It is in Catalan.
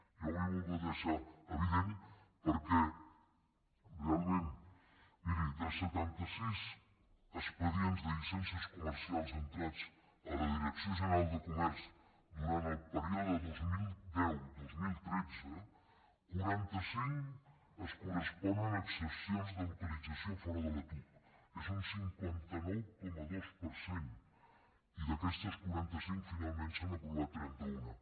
jo ho he volgut deixar evi·dent perquè realment miri de setanta·sis expedients de llicències comercials entrats a la direcció general de comerç durant el període dos mil deu·dos mil tretze quaranta·cinc es corresponen a exempcions de localitzacions fora de la tuc és un cinquanta nou coma dos per cent i d’aquestes quaranta·cinc finalment se n’han aprovat trenta·una